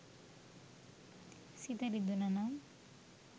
සිත රිදුනා නම්.